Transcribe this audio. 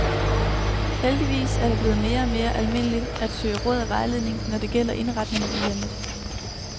Heldigvis er det blevet mere og mere almindeligt at søge råd og vejledning, når det gælder indretningen af hjemmet.